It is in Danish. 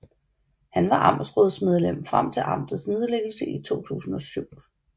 Han var amtsrådsmedlem frem til amtets nedlæggelse i 2007